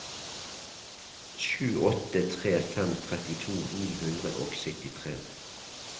sju åtte tre fem trettito ni hundre og syttitre